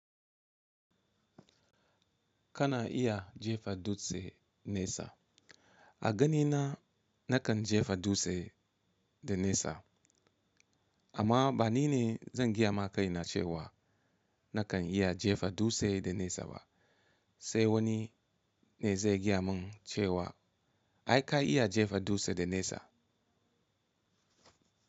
Kana iya jefa dutse nesa. A ganina nakan jefa dutse da nesa, amma banine zan gaya maka ina cewa nakan iya jefa dutse da nesa ba. Sai wani ne zai gaya mun cewa ai kai iya jefa dutse da nesa.